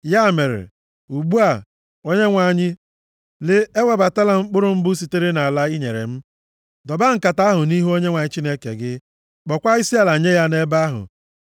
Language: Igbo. Ya mere, ugbu a, Onyenwe anyị, lee, ewebatala m mkpụrụ mbụ sitere nʼala i nyere m.” Dọba nkata ahụ nʼihu Onyenwe anyị Chineke gị, kpọọkwa isiala nye ya nʼebe ahụ.